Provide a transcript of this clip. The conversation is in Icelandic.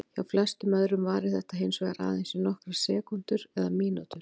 Hjá flestum öðrum varir þetta hins vegar aðeins í nokkrar sekúndur eða mínútur.